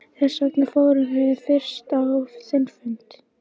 Þessvegna fórum við fyrst á þinn fund.